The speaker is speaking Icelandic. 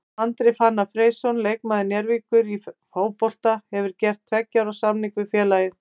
Andri Fannar Freysson leikmaður Njarðvíkur í fótboltanum hefur gert tveggja ára samning við félagið.